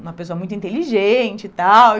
uma pessoa muito inteligente e tal. E